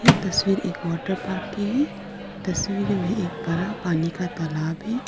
यह तस्वीर एक वाटर पार्क की है तस्वीर में एक बड़ा पानी का तालाब है।